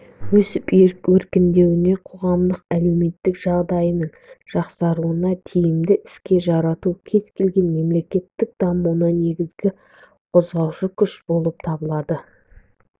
өсіп-өркендеуіне қоғамдық-әлеуметтік жағдайының жақсаруына тиімді іске жарату кез-келген мемлекеттің дамуында негізгі қозғаушы күш болып табылады